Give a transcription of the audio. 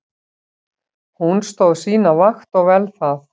Hún stóð sína vakt og vel það.